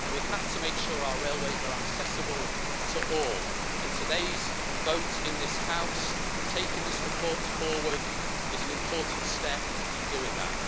We have to make sure our railways are accessible to all, and today's vote in this House taking this report forward is an important step in doing that.